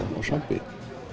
svampi